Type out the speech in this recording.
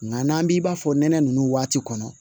Nka n'an b'i b'a fɔ nɛnɛ nunnu waati kɔnɔ